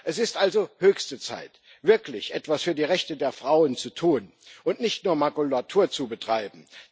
Es ist also höchste Zeit, wirklich etwas für die Rechte der Frauen zu tun und nicht nur Makulatur zu betreiben.